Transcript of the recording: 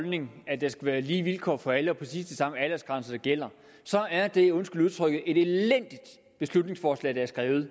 holdning at der skal være lige vilkår for alle og præcis de samme aldersgrænser der gælder så er det undskyld udtrykket et elendigt beslutningsforslag der er skrevet